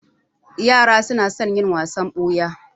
Yara su na son yin wasan ɓuya